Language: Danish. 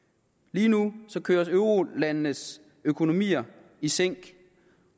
lige nu køres eurolandenes økonomier i sænk